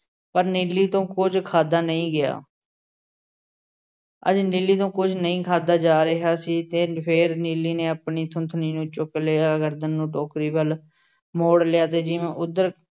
ਪਰ ਨੀਲੀ ਤੋਂ ਕੁੱਝ ਖਾਧਾ ਨਹੀਂ ਗਿਆ। ਅੱਜ ਨੀਲੀ ਤੋਂ ਕੁੱਝ ਨਹੀਂ ਖਾਧਾ ਜਾ ਰਿਹਾ ਸੀ ਤੇ ਫੇਰ ਨੀਲੀ ਨੇ ਆਪਣੀ ਥੂਥਣੀ ਨੂੰ ਚੁੱਕ ਲਿਆ, ਗਰਦਨ ਨੂੰ ਟੋਕਰੀ ਵੱਲੋਂ ਮੋੜ ਲਿਆ ਤੇ ਜਿਵੇਂ ਉੱਧਰ